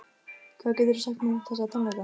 Hvað geturðu sagt mér um þessa tónleika?